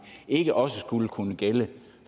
ikke også skulle kunne gælde